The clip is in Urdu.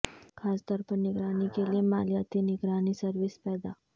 خاص طور پر نگرانی کے لئے مالیاتی نگرانی سروس پیدا